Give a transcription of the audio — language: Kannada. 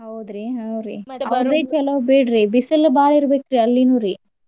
ಹೌದ್ರಿ ಹ್ಮ್ ರಿ ಚಲೋ ಬಿಡ್ರಿ ಬಿಸಲ್ ಬಾಳ ಇರ್ಬೆಕ್ರಿ ಅಲ್ಲಿನುರಿ.